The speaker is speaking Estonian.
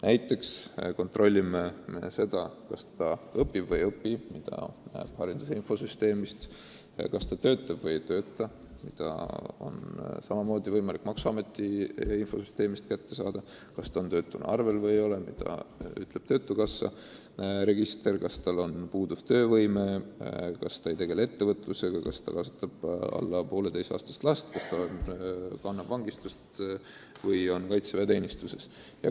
Saab kontrollida, kas noor inimene õpib või ei õpi – seda näeb hariduse infosüsteemist –, kas ta töötab või ei tööta – selle teabe saab kätte maksuameti infosüsteemist –, kas ta on töötuna arvel või ei ole – seda ütleb töötukassa register –, kas tal äkki puudub töövõime, kas ta ei tegele ettevõtlusega, kas ta kasvatab alla 1,5-aastast last, kas ta kannab vangistust või on kaitseväeteenistuses.